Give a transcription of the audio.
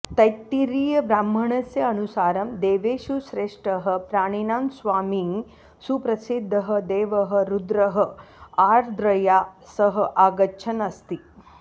तैत्तिरीयब्राह्मणस्य अनुसारं देवेषु श्रेष्ठः प्राणिनां स्वामी सुप्रसिद्धः देवः रुद्रः आर्द्रया सह आगच्छन् अस्ति